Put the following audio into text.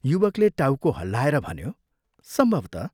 " युवकले टाउको हल्लाएर भन्यो, "सम्भवतः।